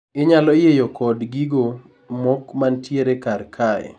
inyalo yiyo kod gigo mok mantiere kar kae